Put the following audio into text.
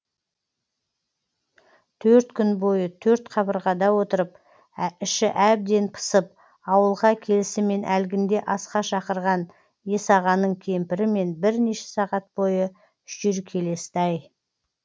төрт күн бойы төрт қабырғада отырып іші әбден пысып ауылға келісімен әлгінде асқа шақырған есағаның кемпірімен бірнеше сағат бойы шүйіркелесті ай